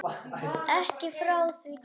Ekki frá því kyn